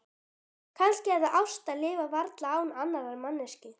Kannski er það ást að lifa varla án annarrar manneskju.